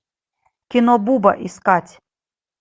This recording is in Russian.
кино буба искать